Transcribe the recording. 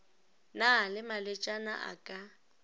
na le malwetšana a ka